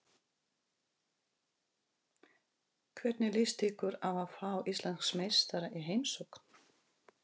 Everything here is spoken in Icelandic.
Hvernig líst ykkur á að fá Íslandsmeistarana í heimsókn?